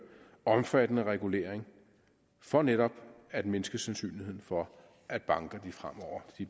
omfattende regulering for netop at mindske sandsynligheden for at banker fremover